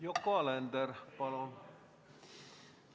Yoko Alender, palun!